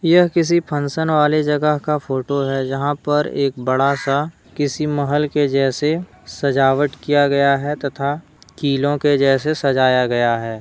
यह किसी फंक्शन वाले जगह का फोटो है जहां पर एक बड़ा सा किसी महल के जैसे सजावट किया गया है तथा किलों के जैसे सजाया गया है।